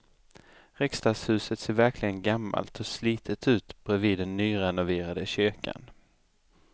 Riksdagshuset ser verkligen gammalt och slitet ut bredvid den nyrenoverade kyrkan.